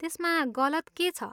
त्यसमा गलत के छ?